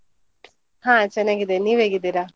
ಹಾ ಚೆನ್ನಾಗಿದ್ದೇನೆ, ನೀವು ಹೇಗಿದ್ದೀರಾ?